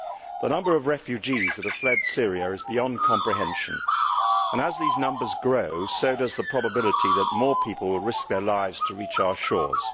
The number of refugees who have fled Syria is beyond comprehension and, as these numbers grow, so does the probability that more people will risk their lives to reach our shores.